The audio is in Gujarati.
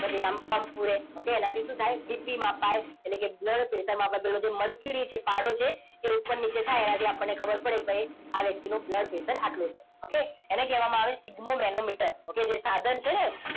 okay એનાથી શું થાય? BP મપાય. એટલે કે blood pressure મપાય. પેલો જે mercury છે. પારો છે એ ઉપર નીચે થાય એટલે આપણને ખબર પડી કે આ વ્યક્તિનું blood pressure આટલું છે. okay એને કહેવામાં આવે sphygmomanometer okay જે સાધન છે ને!